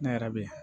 Ne yɛrɛ be yen